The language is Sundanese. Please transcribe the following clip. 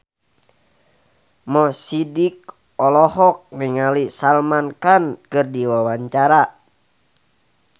Mo Sidik olohok ningali Salman Khan keur diwawancara